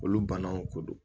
Olu banaw ko don